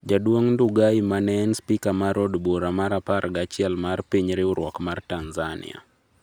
Jduong' Ndugai mane en spika mar od bura mar apar gachiel mar piny riwruok mar Tanzania